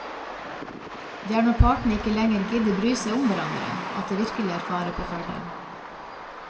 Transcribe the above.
Det er når partene ikke lenger gidder bry seg om hverandre, at det virkelig er fare på ferde.